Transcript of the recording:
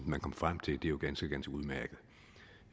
man kom frem til er jo ganske ganske udmærket